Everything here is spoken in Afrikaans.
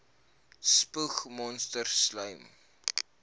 spoeg monsters slym